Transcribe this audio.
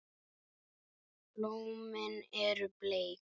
Blómin eru bleik.